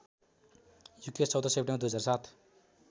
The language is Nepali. युकेश १४ सेप्टेम्बर २००७